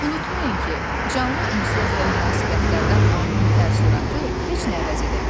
Unutmayın ki, canlı ünsiyyət və münasibətlərdən alınan təəssüratı heç nə əvəz edə bilməz.